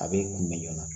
A bɛ kunbɛn joona